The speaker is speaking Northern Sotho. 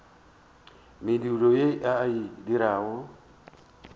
mediro ye a e dirago